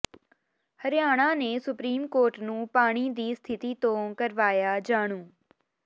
ਹਰਿਆਣਾ ਨੇ supreme court ਨੂੰ ਪਾਣੀ ਦੀ ਸਥਿਤੀ ਤੋਂ ਕਰਵਾਇਆ ਜਾਣੂ